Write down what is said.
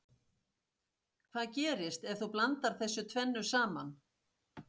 Hvað gerist ef þú blandar þessu tvennu saman?